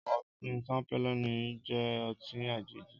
Ọtin Ṣampéni jẹ̀ ọtin àjéji